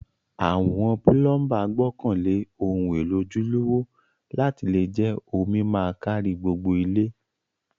Àwon plumber gbókàn lé oun élò ojúlówó láti le je omi ma kárí gbogbo ilé